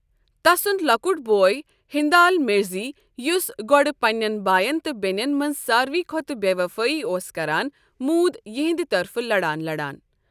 تسُنٛد لۅکُٹ بوے ہِندال مِرزی ، یُس گۅڈٕ پننٮ۪ن باین تہٕ بیٚنٮ۪ن منٛز ساروےٕ کھۅتہ بے وفٲیی اوس کران، موٗد یہنٛدِ طرفہٕ لڑان لڑان۔